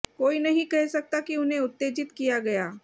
कोई नहीं कह सकता कि उन्हें उत्तेजित किया गया